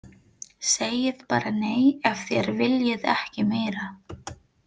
Segið bara nei ef þér viljið ekki meira.